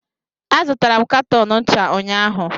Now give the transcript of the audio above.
Azụtara m katọn ncha unyaahụ